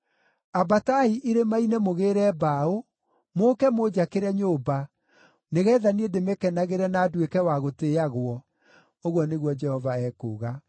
Ambatai irĩma-inĩ mũgĩĩre mbaũ, mũũke mũnjakĩre nyũmba, nĩgeetha niĩ ndĩmĩkenagĩre na nduĩke wa gũtĩĩagwo,” ũguo nĩguo Jehova ekuuga.